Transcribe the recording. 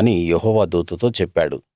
అని యెహోవా దూతతో చెప్పాడు